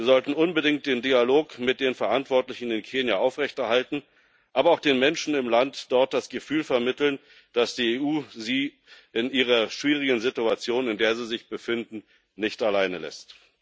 Wir sollten unbedingt den Dialog mit den Verantwortlichen in Kenia aufrechterhalten, aber auch den Menschen im Land dort das Gefühl vermitteln, dass die EU sie in der schwierigen Situation, in der sie sich befinden, nicht alleine lässt.